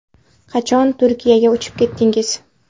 Qachon Turkiyaga uchib ketdingiz?